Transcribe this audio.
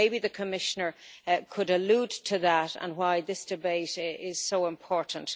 Maybe the Commissioner could allude to that and why this debate is so important.